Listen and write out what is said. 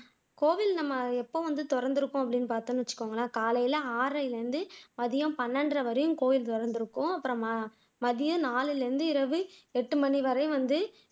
கோவில் நம்ம எப்ப வந்து திறந்திருக்கும் அப்படின்னு பாத்தோம்னு வச்சுக்கோங்க காலைல ஆறரைல இருந்து மதியம் பனிரெண்டரை வரையிலும் கோவில் திறந்திருக்கும் அப்புறமா மதியம் நாலுல இருந்து இரவு எட்டு மணி வரையும் வந்து